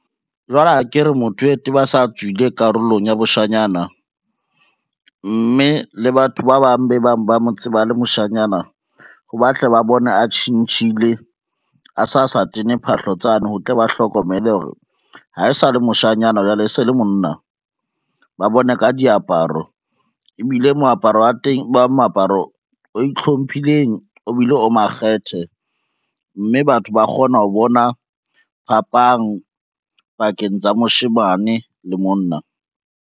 Jwale akere motho ete ba sa tswile karolong ya boshanyana, mme le batho ba bang be bang ba mo tseba a le moshanyana, o batla ba bone a tjhentjhile a sa sa tene phahlo tsane ho tle ba hlokomele hore ha e sa le moshanyana jwale e se le monna. Ba bone ka diaparo, ebile moaparo wa teng e ba moaparo o ihlomphileng o bile o makgethe, mme batho ba kgona ho bona phapang pakeng tsa moshemane le monna.